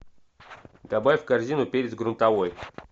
добавь в корзину перец грунтовой